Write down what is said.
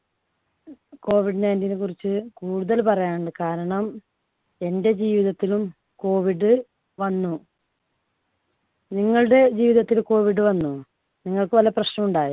COVID nineteen നെ കുറിച്ച് കൂടുതൽ പറയാനുണ്ട്. കാരണം എൻടെ ജീവിതത്തിലും COVID വന്നു നിങ്ങളുടെ ജീവിതത്തിൽ COVID വന്നോ? നിങ്ങൾക്ക് വല്ല പ്രശ്നവും ഉണ്ടായോ?